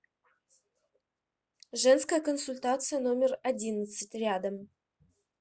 женская консультация номер одиннадцать рядом